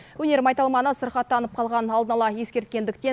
өнер майталманы сырқаттанып қалғанын алдын ала ескерткендіктен